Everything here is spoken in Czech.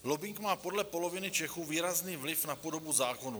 Lobbing má podle poloviny Čechů výrazný vliv na podobu zákonů.